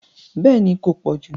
Bẹ́ẹ̀ni kò pọ̀jù